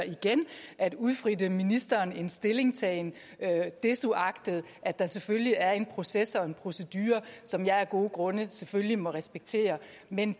at udæske ministeren en stillingtagen desuagtet at der selvfølgelig er en proces og en procedure som jeg af gode grunde selvfølgelig må respektere men